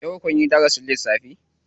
Yau kunyi darasin lissafi?